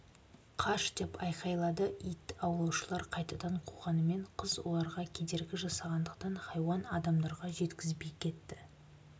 қаш деп айғайлады ит аулаушылар қайтадан қуғанымен қыз оларға кедергі жасағандықтан хайуан адамдарға жеткізбей кетті